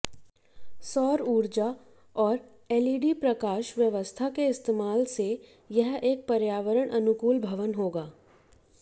सौर ऊर्जा और एलईडी प्रकाश व्यवस्था के इस्तेमाल से यह एक पर्यावरण अनुकूल भवन होगा